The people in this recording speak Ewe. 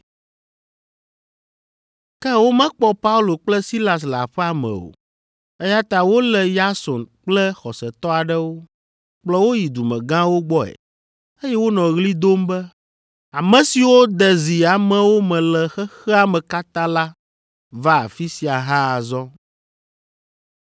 Ke womekpɔ Paulo kple Silas le aƒea me o, eya ta wolé Yason kple xɔsetɔ aɖewo, kplɔ wo yi dumegãwo gbɔe, eye wonɔ ɣli dom be, “Ame siwo de zi amewo me le xexea me katã la va afi sia hã azɔ,